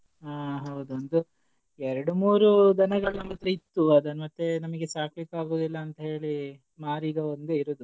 ಹಾ ಹೌದು ಒಂದು ಎರಡು ಮೂರು ದನಗಳು ನಮತ್ರ ಇತ್ತು ಅದನ್ ಮತ್ತೆ ನಾಮಿಗೆ ಸಾಕಲಿಕ್ಕೆ ಆಗುದಿಲ್ಲ ಅಂತೇಳಿ ಮಾರಿ ಈಗ ಒಂದೇ ಇರೋದು.